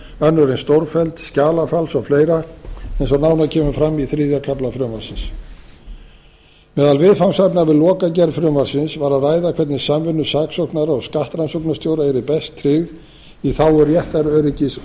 önnur en stórfelld skjalafals og fleira eins og nánar kemur fram í þriðja kafla frumvarpsins meðal viðfangsefna við lokagerð frumvarpsins var að ræða hvernig samvinnu saksóknara og skattrannsóknastjóra yrði best tryggð í þágu réttaröryggis og